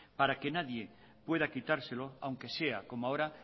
para que nadie pueda quitárselo aunque sea como ahora